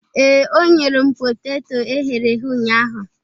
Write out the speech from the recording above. Ee, o nyere m poteto e ghere eghe ụnyaahụ